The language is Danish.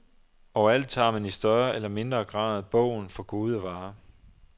Overalt tager man i større eller mindre grad bogen for gode varer.